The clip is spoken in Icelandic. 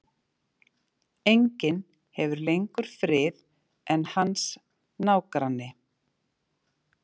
Enginn hefur lengur frið en hans nágranni.